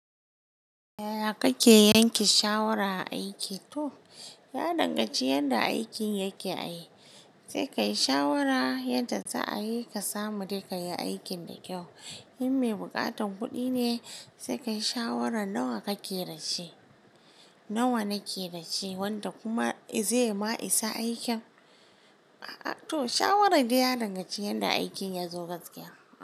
Yaya kake yanke shalwar a aiki? To ya danganci yanda aikin yake ai. Sai kayi shawara yadda za a yi ka samu dai kayi aikin da kyau. In me bukatan kuɗi ne sai kayi shawaran nawa kake dashi, nawa nake dashi wanda kuma zai ma isa aikin aa To shawaran dai ya danganci yanda aikin ya zo gaskiya.